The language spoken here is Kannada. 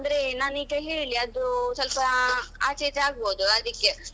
ಅಂದ್ರೆ ನಾನೀಗ ಹೇಳಿ ಅದು ಸ್ವಲ್ಪ ಆಚೆ ಈಚೆ ಆಗ್ಬಹುದು ಅದಕ್ಕೆ.